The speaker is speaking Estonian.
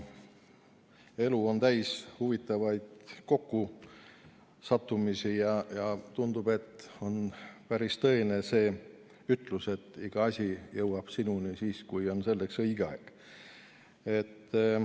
Elu on täis huvitavaid kokkusattumisi ja tundub, et on päris tõene see ütlus, et iga asi jõuab sinuni siis, kui selleks on õige aeg.